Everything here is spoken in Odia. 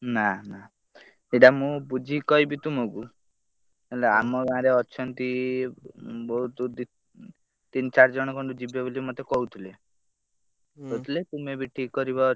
ନା ନା ସେଇଟା ମୁଁ ବୁଝିକି କହିମି ତୁମକୁ ହେଲେ ଆମ ଗାଁରେ ଅଛନ୍ତି ବହୁତ ଦି ତିନ ଚାରି ଜଣ ଖଣ୍ଡେ ଯିବେ ବୋଲି ମତେ କହୁଥିଲେ କହୁଥିଲେ ତୁମେ ବି ଠିକ କରିବ ଛ।